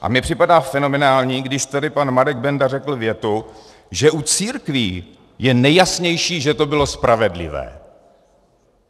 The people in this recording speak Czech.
A mně připadá fenomenální, když tady pan Marek Benda řekl větu, že u církví je nejjasnější, že to bylo spravedlivé.